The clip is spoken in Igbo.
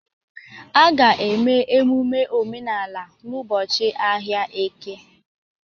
A ga-eme emume omenala n'ụbọchị ahịa eke.